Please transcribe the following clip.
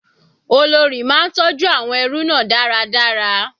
Olórí máa ń tọjú àwọn ẹrú náà dáradára.